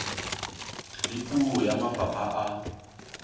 le puo ya mafapha a